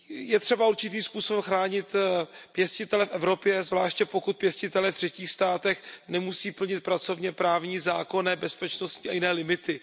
Je třeba určitým způsobem chránit pěstitele v Evropě, zvláště pokud pěstitelé v třetích státech nemusí plnit pracovněprávní, zákonné, bezpečností a jiné limity.